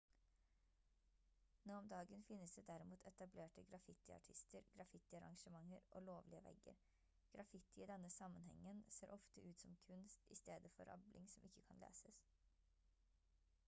nå om dagen finnes det derimot etablerte graffitiartister graffitiarrangementer og «lovlige» vegger. graffiti i denne sammenhengen ser ofte ut som kunst i stedet for rabling som ikke kan leses